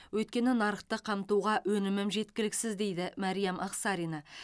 өйткені нарықты қамтуға өнімім жеткіліксіз дейді мәриям ақсарина